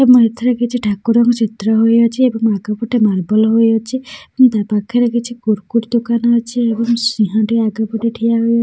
ଏ ମା ଏଥେରେ କିଛି ଠାକୁରଙ୍କ ଚିତ୍ର ହୋଇ ଅଛି ଏବଂ ଆଗ ପଟେ ମାର୍ବଲ ହୋଇ ଅଛି ଏବଂ ତା ପାଖରେ କିଛି କୁରକୁରି ଦୋକାନ ଅଛି ଏବଂ ସିଂହ ଟି ଆଗ ପଟେ ଠିଆ ହୋଇ --